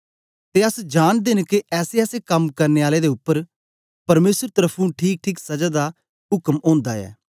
ते अस जांनदे न के ऐसेऐसे कम करने आले उपर परमेसर तर्फुं ठीकठीक सजा दा उक्म ओंदा ऐ